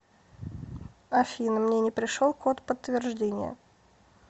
афина мне не пришел код подтверждения